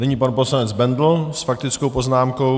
Nyní pan poslanec Bendl s faktickou poznámkou.